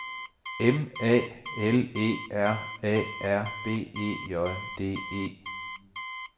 M A L E R A R B E J D E